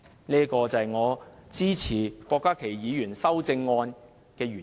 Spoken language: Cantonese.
這是我支持郭家麒議員修正案的原因。